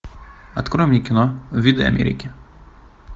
открой мне кино виды америки